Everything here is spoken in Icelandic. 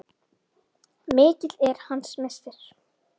Mikill er hans missir.